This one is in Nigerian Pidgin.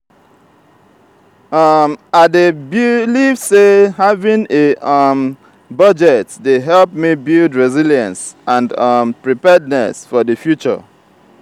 um i dey believe say having a um budget dey help me build resilience and um preparedness for di future.